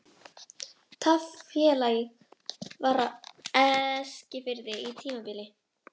Taflfélag var á Eskifirði á tímabili.